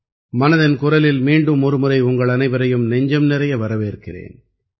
மனதின் குரலில் மீண்டும் ஒருமுறை உங்களனைவரையும் நெஞ்சம் நிறைய வரவேற்கிறேன்